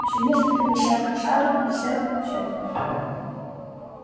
ещё несколько десятков сажен и всё четверо